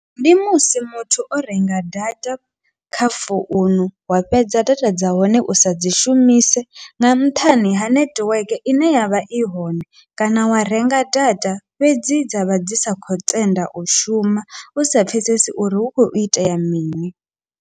Ndi musi muthu o renga data kha founu, wa fhedza data dza hone u sadzi shumise nga nṱhani ha nethiweke ine yavha i hone, kana wa renga data fhedzi dzavha dzi sa khou tenda u shuma usa pfhesesi uri hu khou itea mini.